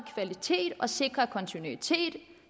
kvalitet og sikre kontinuitet og